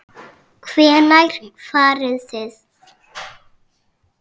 Hvenær farið þið?